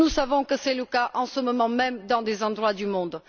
Nous savons que c'est le cas, en ce moment même, dans plusieurs régions du monde.